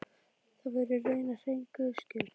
Það væri raunar hrein Guðs gjöf.